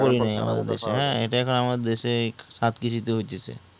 এটাই আমাদের দেশ এ সাত কেজি তে হইতেছে